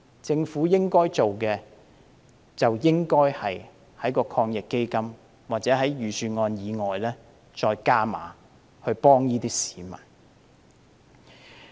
政府應該做的是在抗疫基金下或在預算案之外再加碼，幫助這些市民。